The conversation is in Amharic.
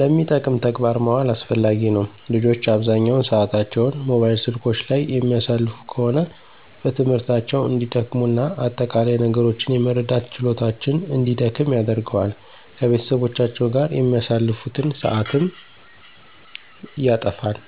ለሚጠቅም ተግባር ማዋል አስፈላጊ ነው። ልጆች አብዛኛውን ሰአታቸውን ሞባይል ስልኮች ላይ የሚያሳልፉ ከሆነ በትምህርታቸው እንዲደክሙ እና አጠቃላይ ነገሮችን የመረዳት ችሎታቸውን እንዲደክም ያደርገዋል። ከቤተሰቦቻቸው ጋር የሚያሳልፉትን ሰአትም ያተፋል።